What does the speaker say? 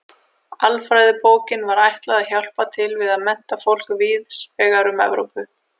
Alfræðibókinni var ætlað að hjálpa til við að mennta fólk víðs vegar um Evrópu.